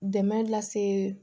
Dɛmɛ lase